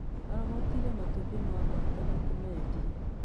Arogotire matumbĩ ma baata na kũmeendia